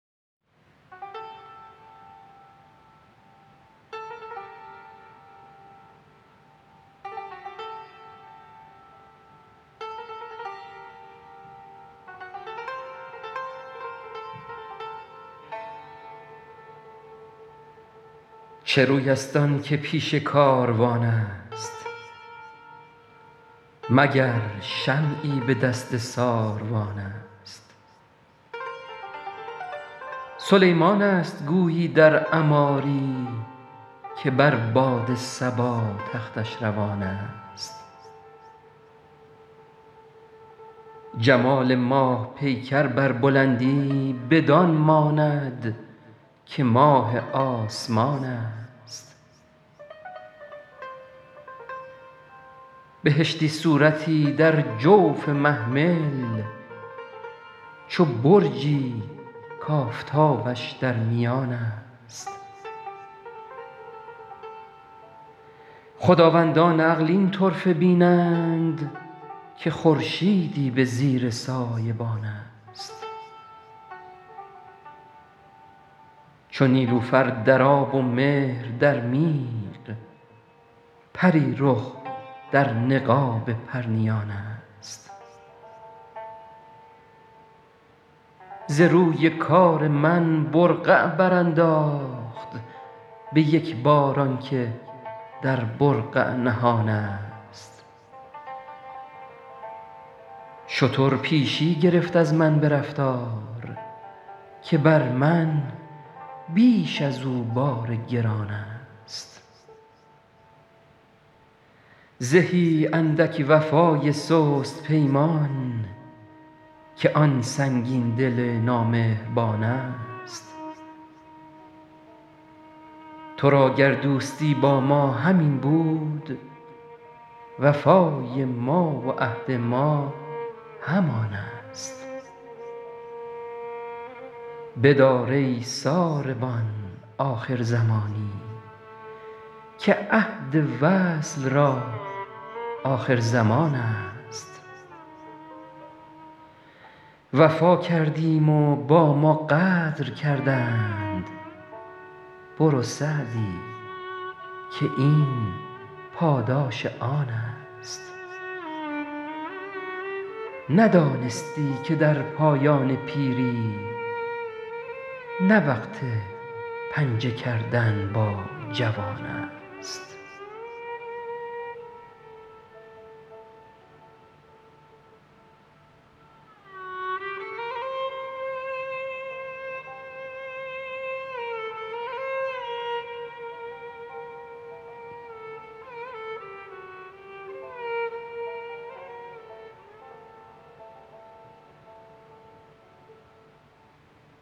چه روی است آن که پیش کاروان است مگر شمعی به دست ساروان است سلیمان است گویی در عماری که بر باد صبا تختش روان است جمال ماه پیکر بر بلندی بدان ماند که ماه آسمان است بهشتی صورتی در جوف محمل چو برجی کآفتابش در میان است خداوندان عقل این طرفه بینند که خورشیدی به زیر سایبان است چو نیلوفر در آب و مهر در میغ پری رخ در نقاب پرنیان است ز روی کار من برقع برانداخت به یک بار آن که در برقع نهان است شتر پیشی گرفت از من به رفتار که بر من بیش از او بار گران است زهی اندک وفای سست پیمان که آن سنگین دل نامهربان است تو را گر دوستی با ما همین بود وفای ما و عهد ما همان است بدار ای ساربان آخر زمانی که عهد وصل را آخرزمان است وفا کردیم و با ما غدر کردند برو سعدی که این پاداش آن است ندانستی که در پایان پیری نه وقت پنجه کردن با جوان است